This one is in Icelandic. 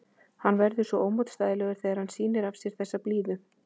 Hann verður svo ómótstæðilegur þegar hann sýnir af sér þessa blíðu.